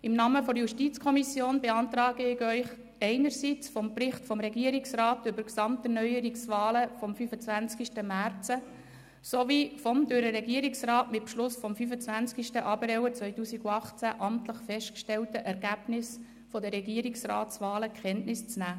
Im Namen der JuKo beantrage ich Ihnen einerseits den Bericht des Regierungsrats zu den Gesamterneuerungswahlen vom 25. März sowie andererseits das durch den Regierungsrat mit Beschluss vom 25. April 2018 amtlich festgestellte Ergebnis der Regierungsratswahlen zur Kenntnis zu nehmen.